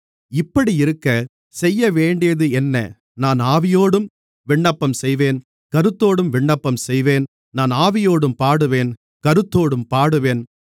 இப்படியிருக்க செய்யவேண்டியதென்ன நான் ஆவியோடும் விண்ணப்பம் செய்வேன் கருத்தோடும் விண்ணப்பம் செய்வேன் நான் ஆவியோடும் பாடுவேன் கருத்தோடும் பாடுவேன்